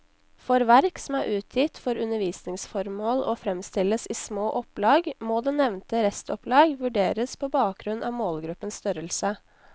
For verk som er utgitt for undervisningsformål og fremstilles i små opplag, må det nevnte restopplag vurderes på bakgrunn av målgruppens størrelse.